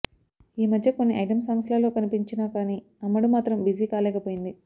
ఈ మధ్య కొన్ని ఐటెం సాంగ్స్ లలో కనిపించిన కానీ అమ్మడు మాత్రం బిజీ కాలేకపోయింది